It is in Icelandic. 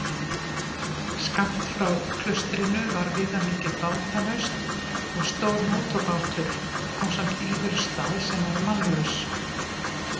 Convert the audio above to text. Skammt frá klaustrinu var viðamikið bátanaust og stór mótorbátur ásamt íverustað sem var mannlaus.